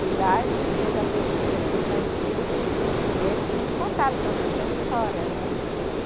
E lá a gente fez a pesquisa com os antigos e eles nos contaram toda essa história. né